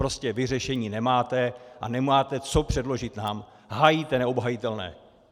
Prostě vy řešení nemáte a nemáte co předložit nám, hájíte neobhajitelné.